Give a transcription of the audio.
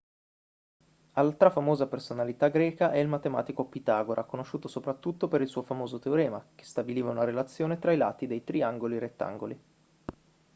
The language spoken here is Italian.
altra famosa personalità greca è il matematico pitagora conosciuto soprattutto per il suo famoso teorema che stabiliva una relazione tra i lati dei triangoli rettangoli